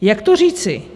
Jak to říci?